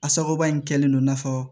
A sababu in kɛlen don i n'a fɔ